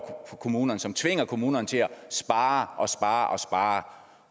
for kommunerne som tvinger kommunerne til at spare og spare og spare